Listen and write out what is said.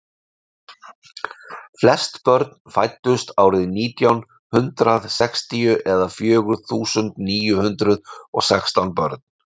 flest börn fæddust árið nítján hundrað sextíu eða fjögur þúsund níu hundruð og sextán börn